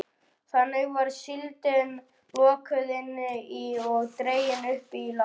Þannig var síldin lokuð inni og dregin upp í land.